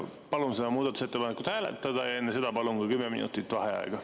Palun muudatusettepanekut hääletada ja enne seda palun ka 10 minutit vaheaega.